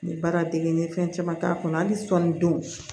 N ye baara dege fɛn caman k'a kɔnɔ hali sɔ ni don